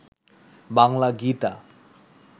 Bangla Gita